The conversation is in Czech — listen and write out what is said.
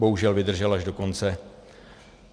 Bohužel vydržel až do konce.